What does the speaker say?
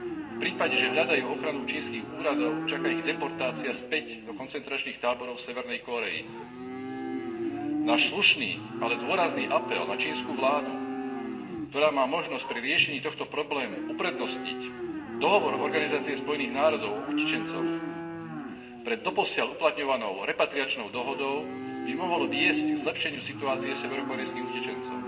V prípade, že hľadajú ochranu čínskych úradov, čaká ich deportácia späť do koncentračných táborov Severnej Kórey. Náš slušný, ale dôrazný apel na čínsku vládu, ktorá má možnosť pri riešení tohto problému uprednostniť Dohovor OSN o utečencoch pred doposiaľ uplatňovanou repatriačnou dohodou, by mohol viesť k zlepšeniu situácie severokórejských utečencov.